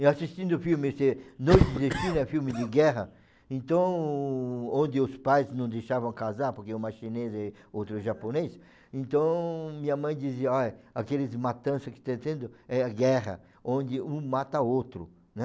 Eu assistindo o filme, esse Noite de Destino, é um filme de guerra, então, onde os pais não deixavam casar, porque uma chinesa e outra japonesa, então, minha mãe dizia, olha, aqueles matanças que estão tendo, é a guerra, onde um mata outro, né?